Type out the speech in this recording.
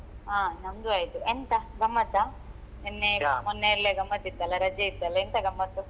ಹಾ ನಮ್ದು ಆಯ್ತು ಎಂತ ಗಮ್ಮತ್ತಾ ನೆನ್ನೆ ಮೊನ್ನೆ ಎಲ್ಲ ಗಮ್ಮತ್ತಿತ್ತಲ್ಲ ರಜೆ ಇತ್ತಲ್ಲಾ ಎಂತ ಗಮ್ಮತ್ತು.